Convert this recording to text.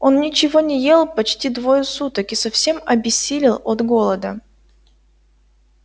он ничего не ел почти двое суток и совсем обессилел от голода